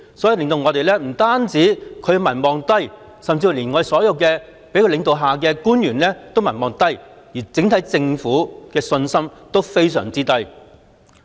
不單她的民望低，甚至所有在她領導下的官員的民望亦低，對整個政府的信心也非常低。